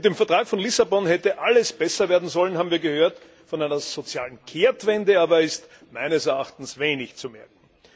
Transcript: Mit dem Vertrag von Lissabon hätte alles besser werden sollen, haben wir gehört, von einer sozialen Kehrtwende aber ist meines Erachtens wenig zu merken.